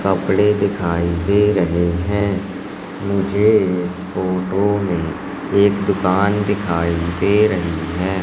कपड़े दिखाई दे रहे हैं मुझे इस फोटो में एक दुकान दिखाई दे रही हैं।